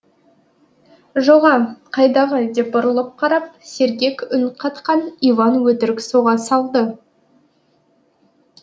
жоға қайдағы деп бұрылып қарап сергек үн қатқан иван өтірік соға салды